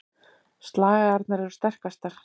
Slagæðarnar eru sterkastar.